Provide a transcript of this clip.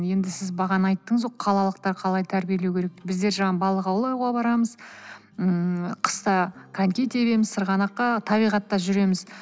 енді сіз бағана айттыңыз ғой қалалықтар қалай тәрбиелеу керек біздер жаңағы балық аулауға барамыз ммм қыста коньки тебеміз сырғанаққа табиғатта жүреміз